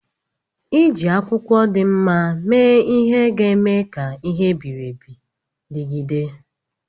Iji akwụkwọ dị mma mee ihe ga-eme ka ihe e biri ebi dịgide.